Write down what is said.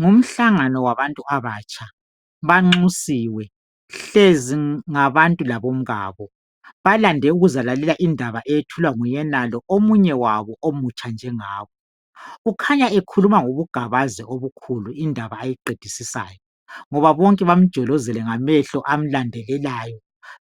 Ngumhlangano wabantu abatsha ,banxusiwe .Hlezi ngabantu labomkabo .Balande ukuzalalela indaba eyethulwa nguyenalo omunye wabo omutsha njengabo. Ukhanya ekhuluma ngobugabazi obukhulu indaba ayiqedisisayo. Ngoba bonke bamjolozele ngamehlo amlandelelayo